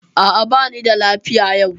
A'a, bani da lafiya yau.